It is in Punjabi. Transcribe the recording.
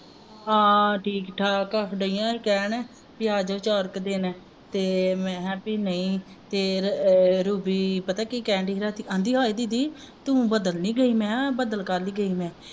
ਹਾਂ ਠੀਕ ਠਾਕ ਆ ਦੀਆਂ ਹੀ ਕਹਿਣ ਬਈ ਆ ਜੋ ਚਾਰ ਕ ਦਿਨ ਤੇ ਮਹਿ ਹਾਂ ਬਈ ਨਹੀਂ ਫਿਰ ਅਹ ਰੂਬੀ ਪਤਾ ਕੀ ਕਹਿਣ ਦਈ ਹੀ ਰਾਤੀ ਆਂਦੀ ਹਏ ਦੀਦੀ ਤੂੰ ਬਦਲ ਨਹੀਂ ਗਈ ਮੈਂ ਹਾਂ ਬਦਲ ਕਾਹ ਲਈ ਗਈ ਮੈਂ